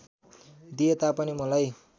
दिए तापनि मलाई